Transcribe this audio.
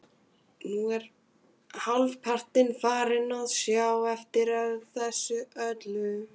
Nú er ég hálfpartinn farinn að sjá eftir þessu öllu.